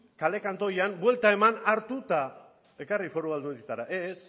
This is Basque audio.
kale kantoian buelta eman hartu eta ekarri foru aldundietara ez